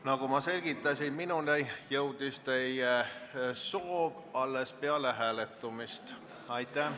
Nagu ma selgitasin, minuni jõudis teie soov alles peale hääletamist.